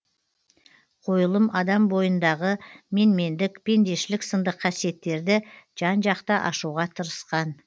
қойылым адам бойындағы менмендік пендешілік сынды қасиеттерді жан жақты ашуға тырысқан